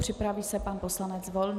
Připraví se pan poslanec Volný.